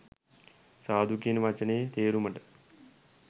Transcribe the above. සාදු කියන වචනයේ තේරුමට